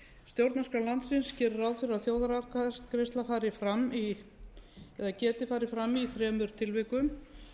stjórnarskrá landsins gerir ráð fyrir að þjóðaratkvæðagreiðsla fari fram eða geti farið fram í þremur tilvikum